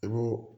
I b'o